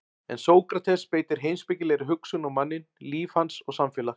En Sókrates beitir heimspekilegri hugsun á manninn, líf hans og samfélag.